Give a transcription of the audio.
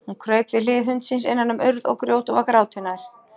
Hún kraup við hlið hundsins innan um urð og grjót og var gráti nær.